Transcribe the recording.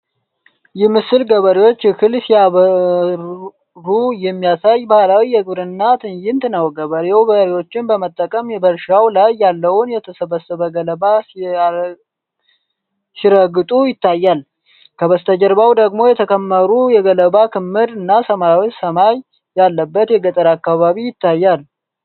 ይህ ምስል ገበሬዎች እህል ሲያበሩ የሚያሳይ ባህላዊ የግብርና ትዕይንት ነው። ገበሬው በሬዎችን በመጠቀም በእርሻው ላይ ያለውን የተሰበሰበ ገለባ ሲረግጡ ይታያል። ከበስተጀርባው ደግሞ የተከመሩ የገለባ ክምር እና ሰማያዊ ሰማይ ያለበት የገጠር አካባቢ ይታያል።